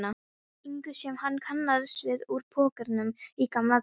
ingu sem hann kannaðist við úr pókernum í gamla daga.